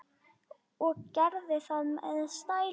Og gerði það með stæl.